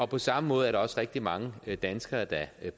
på samme måde er der også rigtig mange danskere der